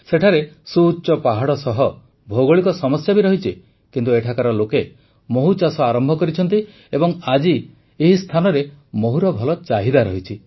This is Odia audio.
ସେଠାରେ ସୁଉଚ୍ଚ ପାହାଡ଼ ସହ ଭୌଗୋଳିକ ସମସ୍ୟା ବି ରହିଛି କିନ୍ତୁ ଏଠାକାର ଲୋକେ ମହୁଚାଷ ଆରମ୍ଭ କରିଛନ୍ତି ଏବଂ ଆଜି ଏହି ସ୍ଥାନରେ ମହୁର ଭଲ ଚାହିଦା ରହିଛି